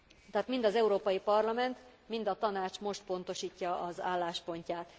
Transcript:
Tehát mind az Európai Parlament, mind a Tanács most pontosítja az álláspontját.